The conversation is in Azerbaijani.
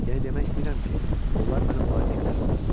Yəni demək istəyirəm ki, onlar mənim valideynlərimdir.